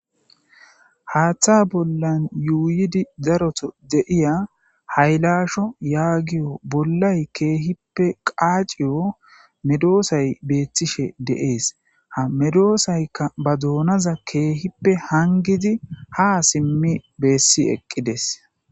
Haththa bolla uyiddi darota de'iya hayilashsho yagiyo bollayi kehippe qacciyo medosayi bettishshe de'ees.ha medosayikka baa donaza kehippe haniggid haa simmi eqqides.